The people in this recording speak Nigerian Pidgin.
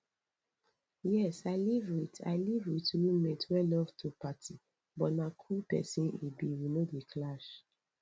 yes i live with i live with roommate wey love to party but na cool pesin e be we no dey clash